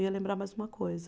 Eu ia lembrar mais uma coisa.